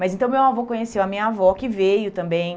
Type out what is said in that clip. Mas então meu avô conheceu a minha avó, que veio também.